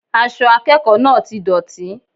Aṣọ akẹ́kọ̀ọ́ náà ti dọ̀tí